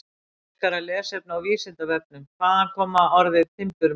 Frekara lesefni á Vísindavefnum: Hvaðan kemur orðið timburmenn?